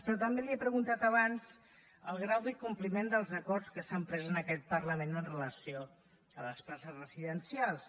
però també li he preguntat abans el grau de compliment dels acords que s’han pres en aquest parlament amb relació a les places residencials